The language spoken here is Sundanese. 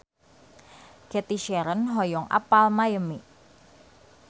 Cathy Sharon hoyong apal Miami